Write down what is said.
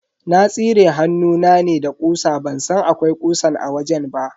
Na tsire hannuna ne da ƙusa ban san akwai ƙusan a wajen ba.